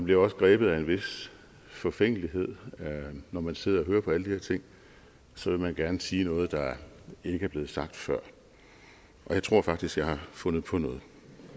jo også grebet af en vis forfængelighed når man sidder og hører på alle de her ting så vil man gerne sige noget der ikke er blevet sagt før og jeg tror faktisk jeg har fundet på noget